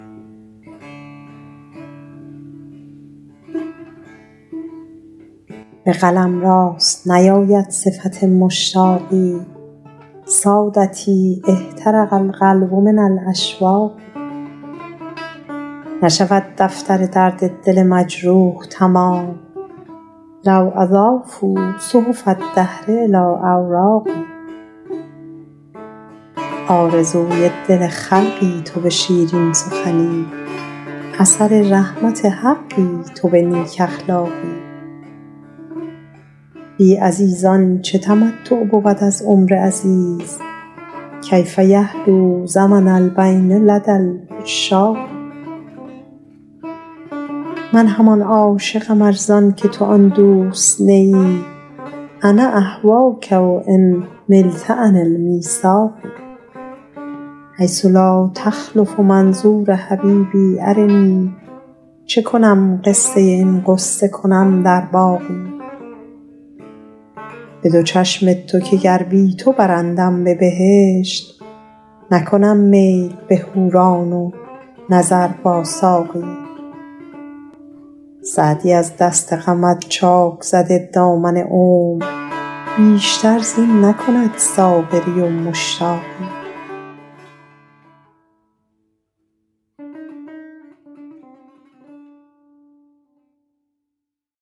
به قلم راست نیاید صفت مشتاقی سادتی احترق القلب من الاشواق نشود دفتر درد دل مجروح تمام لو اضافوا صحف الدهر الی اوراقی آرزوی دل خلقی تو به شیرین سخنی اثر رحمت حقی تو به نیک اخلاقی بی عزیزان چه تمتع بود از عمر عزیز کیف یحلو زمن البین لدی العشاق من همان عاشقم ار زان که تو آن دوست نه ای انا اهواک و ان ملت عن المیثاق حیث لا تخلف منظور حبیبی ارنی چه کنم قصه این غصه کنم در باقی به دو چشم تو که گر بی تو برندم به بهشت نکنم میل به حوران و نظر با ساقی سعدی از دست غمت چاک زده دامن عمر بیشتر زین نکند صابری و مشتاقی